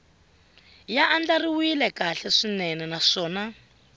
ya andlariwile kahle swinene naswona